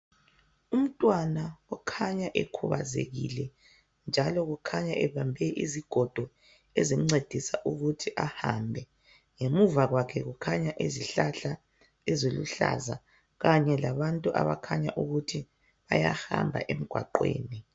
Umtwana okhanya ekhubazekile njalo ekhanya ebambe izigodo ezimncedisa ukuthi ahambe .Ngemuva kwakhe kukhanya izihlahla eziluhlaza kanye labantu abakhanya ukuthi bayahamba emgwaqweni.